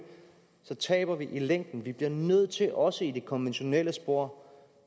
så taber vi i længden vi bliver nødt til også i det konventionelle spor